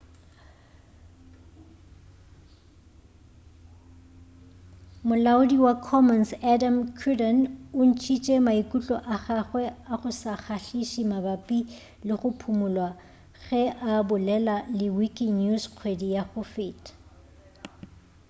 molaodi wa commons adam cuerden o ntšhitše maikutlo a gagwe a go se kgahliše mabapi le go phumulwa ge a bolela le wikinews kgwedi ya go feta